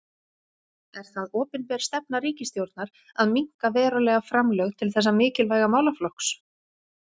Er það opinber stefna ríkisstjórnar að minnka verulega framlög til þessa mikilvæga málaflokks?